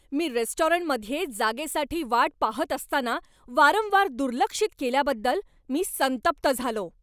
मी रेस्टॉरंटमध्ये जागेसाठी वाट पाहत असताना, वारंवार दुर्लक्षित केल्याबद्दल मी संतप्त झालो.